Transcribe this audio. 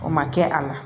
O ma kɛ a la